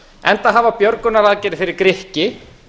enda hafa björgunaraðgerðir fyrir grikki